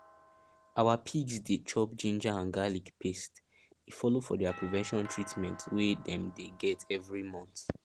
our pigs dey chop ginger and garlic paste e follow for their prevention treatment wey dem dey get every month